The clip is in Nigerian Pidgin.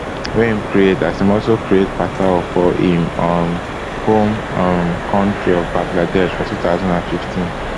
wey im create as im also create pathao for im um home um kontri of bangladesh for two thousand and fifteen